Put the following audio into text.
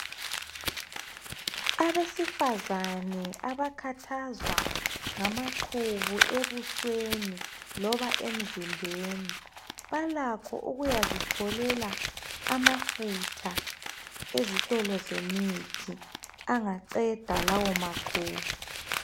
Abesifazane abakhathazwa ngamaqubu ebusweni loba emzimbeni, balakho ukuyazitholela amafutha ezitolo emithi angaqeda lawo maqubu.